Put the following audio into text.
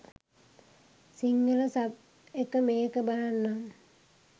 Sinhala sub එක්ක මේක බලන්නම්.